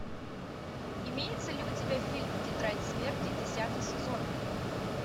имеется ли у тебя фильм тетрадь смерти десятый сезон